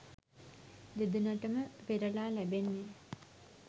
දෙදෙනාටම පෙරළා ලැබෙන්නේ